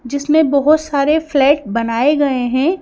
जिसमें बहुत सारे फ्लैट बनाए गए हैं।